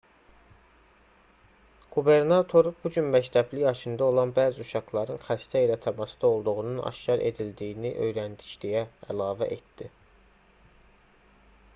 qubernator bu gün məktəbli yaşında olan bəzi uşaqların xəstə ilə təmasda olduğunun aşkar edildiyini öyrəndik deyə əlavə etdi